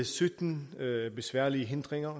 sytten besværlige hindringer